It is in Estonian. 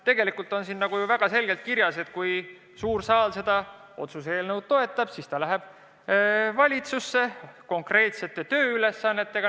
Tegelikult on siin ju väga selgelt kirjas, et kui suur saal seda otsuse eelnõu toetab, siis see läheb valitsusse konkreetsete tööülesannetega.